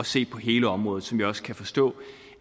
se på hele området som jeg også kan forstå